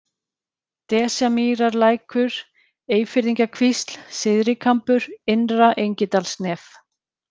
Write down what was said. Desjamýrarlækur, Eyfirðingakvísl, Syðrikambur, Innra-Engidalsnef